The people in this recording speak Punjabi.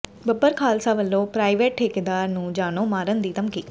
ਬੱਬਰ ਖਾਲਸਾ ਵੱਲੋਂ ਪ੍ਰਾਈਵੇਟ ਠੇਕੇਦਾਰ ਨੂੰ ਜਾਨੋਂ ਮਾਰਨ ਦੀ ਧਮਕੀ